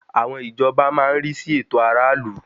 Àwọn ìjọba ní má ń rí sí ẹ̀tọ́ aráàlú